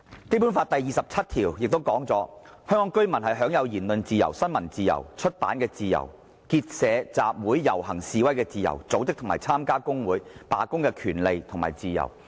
"《基本法》第二十七條亦訂明："香港居民享有言論、新聞、出版的自由，結社、集會、遊行、示威的自由，組織和參加工會、罷工的權利和自由。